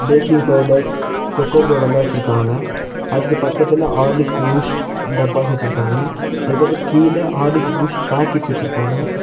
Packing powder cocoa powder லா வச்சுருக்காங்க அதுக்கு பக்கத்துல ஹார்லிக்ஸ் பூஸ்ட் டப்பாஸ் வச்சுருக்காங்க அதுக்கப்புறம் கீழ ஹார்லிக்ஸ் பூஸ்ட் பேக்கெட்ஸ் வச்சுருக்காங்க.